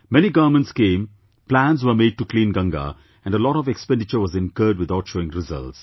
Many governments came, plans were made to clean Ganga, and a lot of expenditure was incurred without showing results